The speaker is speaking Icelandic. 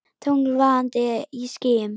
Tungl vaðandi í skýjum.